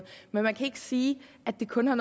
men man kan ikke sige at det kun har